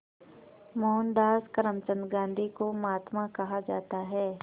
मोहनदास करमचंद गांधी को महात्मा कहा जाता है